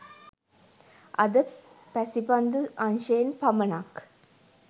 අද පැසිපන්දු අංශයෙන් පමණක්